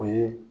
O ye